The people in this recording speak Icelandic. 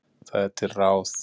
Það er til ráð.